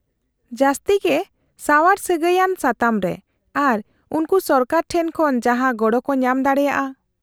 -ᱡᱟᱹᱥᱛᱤ ᱜᱮ ᱥᱟᱣᱟᱨ ᱥᱟᱹᱜᱟᱹᱭ ᱟᱱ ᱥᱟᱛᱟᱢᱨᱮ ᱟᱨ ᱩᱱᱠᱩ ᱥᱚᱨᱠᱟᱨ ᱴᱷᱮᱱ ᱠᱷᱚᱱ ᱡᱟᱦᱟᱸ ᱜᱚᱲᱚ ᱠᱚ ᱧᱟᱢ ᱫᱟᱲᱮᱭᱟᱜᱼᱟ ᱾